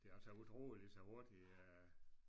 Det er altså utroligt så hurtigt øh